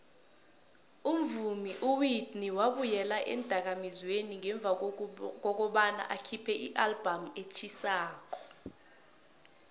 umvumi uwhitney wabuyela eendakamizweni ngemva kobana akhiphe ialbum etjhisako